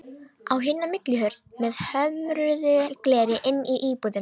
Á hina millihurð með hömruðu gleri inn í íbúðina.